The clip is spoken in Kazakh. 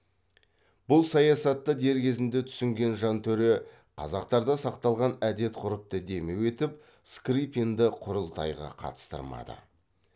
бұл саясатты дер кезінде түсінген жантөре қазақтарда сақталған әдет ғұрыпты демеу етіп скрыпинді құрылтайға қатыстырмады